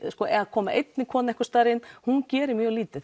að koma einni konu einhvers staðar inn hún gerir mjög lítið